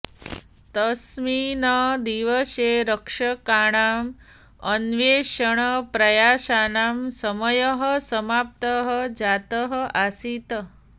तस्मिन् दिवसे रक्षकाणां अन्वेषणप्रयासानां समयः समाप्तः जातः आसीत्